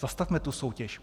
Zastavme tu soutěž.